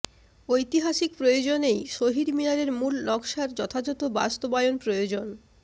ঐতিহাসিক প্রয়োজনেই শহীদ মিনারের মূল নকশার যথাযথ বাস্তবায়ন প্রয়োজন